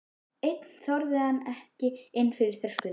Einn þorði hann ekki inn fyrir þröskuldinn.